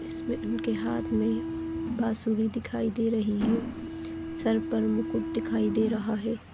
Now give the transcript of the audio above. इसमे इनके हाथ मे बासुरी दिखाई दे रही है सर पर मुकुट दिखाई दे रहा है।